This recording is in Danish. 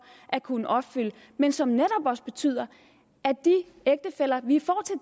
at kunne opfylde men som netop også betyder at de ægtefæller